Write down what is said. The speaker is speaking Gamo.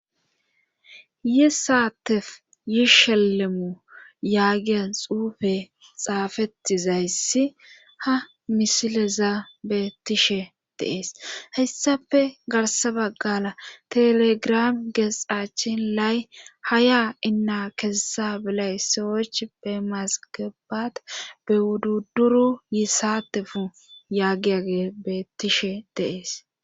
yi saatefu yishelemu yaagiya xuufe xaafettizayssi ha misileza beettishe deees hessafe garsa baggaala telegiram geesxaachin lay haya inna kesessa bilay sowoych be masgebat be wududduru yi saatefu yaagiya beettishe deees